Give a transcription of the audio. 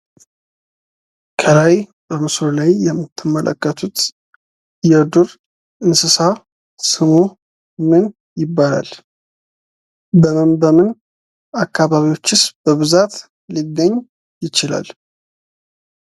ከላይ በምስሉ ላይ የምትመለከቱት የዱር እንስሳ ስሙ ምን ይባላል? በምን በምን አካባቢዎችስ በብዛት ሊገኝ ይችላል?